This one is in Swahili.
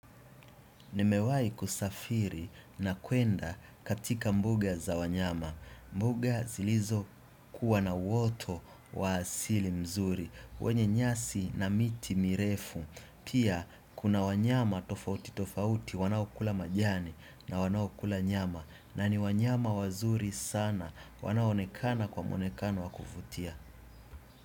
Nimewahi kusafiri na kwenda katika mbuga za wanyama. Mbuga zilizo kuwa na uwoto waasili mzuri. Wenye nyasi na miti mirefu. Pia kuna wanyama tofauti tofauti. Wanaokula majani na wanaokula nyama. Na ni wanyama wazuri sana. Wanao onekana kwa mwonekano wakuvutia.